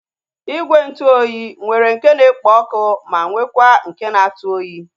Igwe ntụ oyi nwere nke na-ekpo ọkụ ma nwekwa nke na-atụ oyi